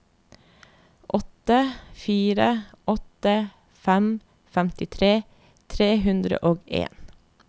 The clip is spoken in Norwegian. åtte fire åtte fem femtitre tre hundre og en